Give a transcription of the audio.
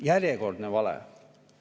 Järjekordne vale.